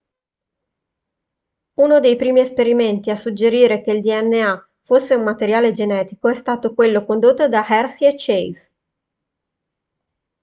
uno dei primi esperimenti a suggerire che il dna fosse un materiale genetico è stato quello condotto da hershey e chase